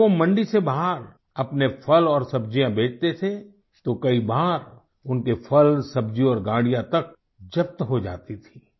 अगर वो मंडी से बाहर अपने फल और सब्जियाँ बेचते थे तो कई बार उनके फल सब्जी और गाड़ियाँ तक जब्त हो जाती थी